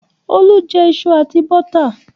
Olú jẹ iṣu àti bọ́tà.